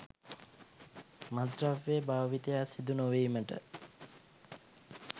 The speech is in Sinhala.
මත්ද්‍රව්‍ය භාවිතයක් සිදු නොවීමට